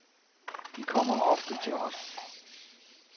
De kommer ofte til os.